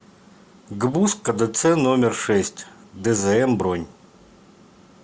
гбуз кдц номер шесть дзм бронь